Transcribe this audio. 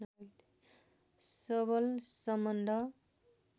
सबल सम्बन्ध